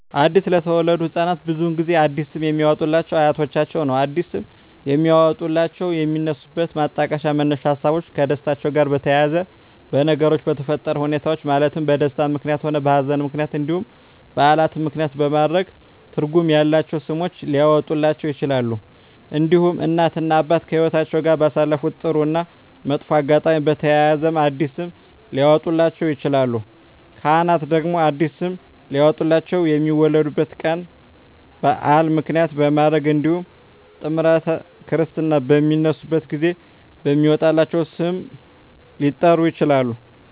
አዲስ ለተወለዱ ህፃናት ብዙውን ጊዜ አዲስ ስም የሚያወጡሏቸው አያቶቻቸውን ነው አዲስ ስም የሚያወጧላቸው የሚነሱበት ማጣቀሻ መነሻ ሀሳቦች ከደስታቸው ጋር በተያያዘ በነገሮች በተፈጠረ ሁኔታዎች ማለትም በደስታም ምክንያትም ሆነ በሀዘንም ምክንያት እንዲሁም በዓላትን ምክንያትም በማድረግ ትርጉም ያላቸው ስሞች ሊያወጡላቸው ይችላሉ። እንዲሁም እናት እና አባት ከህይወትአቸው ጋር ባሳለፉት ጥሩ እና መጥፎ አጋጣሚ በተያያዘ አዲስ ስም ሊያወጡላቸው ይችላሉ። ካህናት ደግሞ አዲስ ስም ሊያወጡላቸው የሚወለዱበት ቀን በዓል ምክንያት በማድረግ እንዲሁም ጥምረተ ክርስትና በሚነሱበት ጊዜ በሚወጣላቸው ስም ሊጠሩ ይችላሉ።